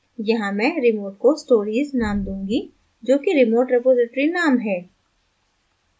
यहाँ मैं remote को stories name दूँगी जोकि remote रिपॉज़िटरी name है